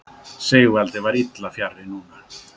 Sigvaldi var illa fjarri núna.